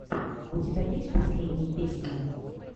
у тебя есть последние песни